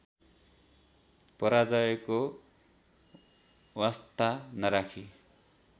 पराजयको वास्ता नराखी